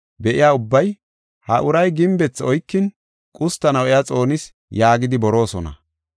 be7iya ubbay, ‘Ha uray gimbethi oykin qustanaw iya xoonis’ yaagidi boroosona.